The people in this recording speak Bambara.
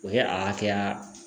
O ye a hakɛya